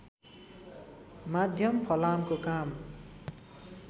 माध्यम फलामको काम